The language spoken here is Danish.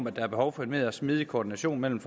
at der er behov for en mere smidig koordination mellem